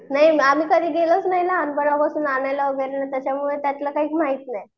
नाही आम्ही कधी गेलोच नाही ना लहानपणापासून आणायला त्याच्यामुळे त्यातलं काही माहित नाही.